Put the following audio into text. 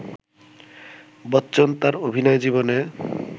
বচ্চন তাঁর অভিনয় জীবনে